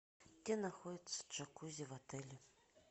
где находится джакузи в отеле